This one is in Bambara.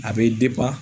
A bɛ